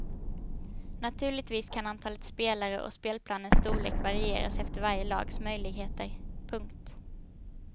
Naturligtvis kan antalet spelare och spelplanens storlek varieras efter varje lags möjligheter. punkt